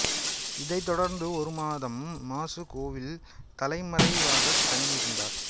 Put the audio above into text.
இதைத் தொடர்ந்து ஒரு மாதம் மாசுகோவில் தலைமறைவாகத் தங்கி இருந்தார்